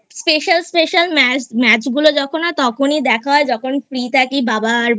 Special Special Match গুলো যখন হয় তখনই দেখা হয় যখন Free থাকি বাবা আর